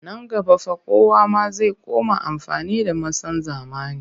Nan gaba fa kowa ma zai koma amfani da masan zamani